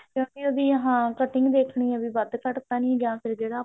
ਕਿਉਂਕਿ ਹਾਂ ਉਹਦੀ cutting ਦੇਖਣੀ ਆ ਵੱਧ ਘੱਟ ਤਾਂ ਨੀ ਜਾਂ ਫ਼ੇਰ ਜਿਹੜਾ